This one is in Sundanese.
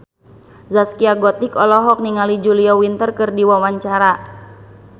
Zaskia Gotik olohok ningali Julia Winter keur diwawancara